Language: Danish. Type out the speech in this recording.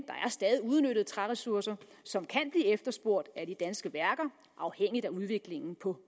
der er stadig uudnyttede træressourcer som kan blive efterspurgt af de danske værker afhængig af udviklingen på